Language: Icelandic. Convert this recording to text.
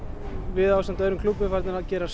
við ásamt öðrum klúbbum farin að gera